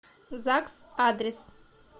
загс адрес